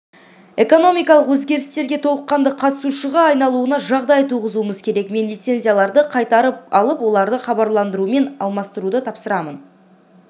экономикалық өзгерістерге толыққанды қатысушыға айналуына жағдай туғызуымыз керек мен лицензияларды қайтарып алып оларды хабарландырумен ауыстыруды тапсырамын